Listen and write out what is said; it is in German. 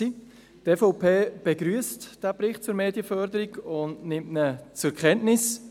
Die EVP begrüsst den Bericht zur Medienförderung und nimmt ihn zur Kenntnis.